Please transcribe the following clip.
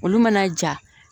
Olu mana ja